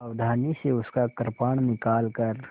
सावधानी से उसका कृपाण निकालकर